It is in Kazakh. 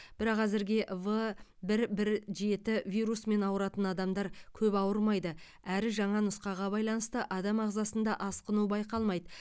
бірақ әзірге в бір бір жеті вирусымен ауыратын адамдар көп ауырмайды әрі жаңа нұсқаға байланысты адам ағзасында асқыну байқалмайды